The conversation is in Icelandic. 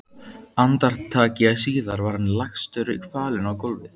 Andartaki síðar var hann lagstur kvalinn á gólfið.